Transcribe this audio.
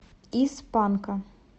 из панка